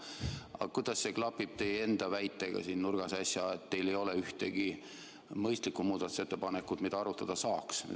Aga kuidas see klapib teie enda äsjase väitega, et teil ei ole ühtegi mõistlikku muudatusettepanekut, mida arutada saaks?